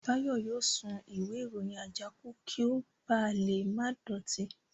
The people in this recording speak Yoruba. Báyọ̀ yóò sun ìwé ìròyìn àjákù kí ó ba lè má dọ̀tí ilẹ̀